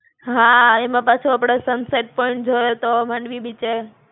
હાં, એમાં પાછો આપડે sunset point જોયો તો માંડવી બીચે.